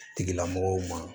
Tigilamɔgɔw ma